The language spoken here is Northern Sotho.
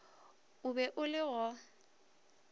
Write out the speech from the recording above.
o be o le go